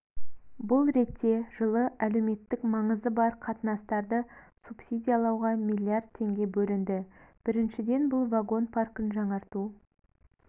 бұл ретте жылы әлеуметтік маңызы бар қатынастарды субсидиялауға млрд теңге бөлінді бірішіден бұл вагон паркін жаңарту